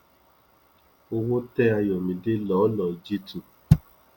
owó tẹ àyọmídé lọlọọ jí tu